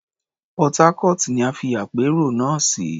Port Harcourt ni a fi àpérò náà sí.